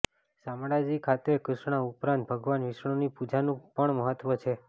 શામળાજી ખાતે કૃષ્ણ ઉપરાંત ભગવાન વિષ્ણુની પૂજાનું પણ મહત્વ છે